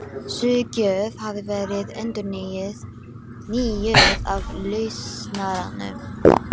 Sú gjöf hafi verið endurnýjuð af Lausnaranum.